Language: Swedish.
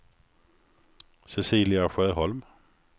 Cecilia Sjöholm